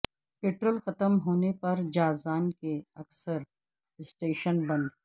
petrol ختم ہونے پر جازان کے اکثر اسٹیشن بند